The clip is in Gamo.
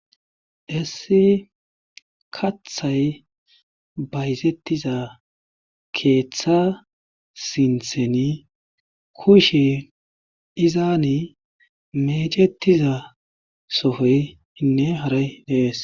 Issi kaththe bayzetiza keeththa sintheni kushe izani meecetiza sohoynne haray dees.